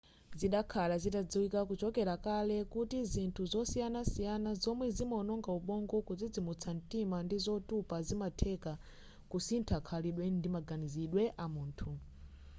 zidakhala zitadziwika kuchokera kale kuti zinthu zosiyanasiyana zomwe zimaononga ubongo kudzidzimutsa mtima ndi zotupa zimatheka kusintha khalidwe ndi maganizidwe amunthu